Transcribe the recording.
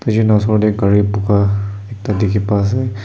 gari boga ekta dikhi pai ase.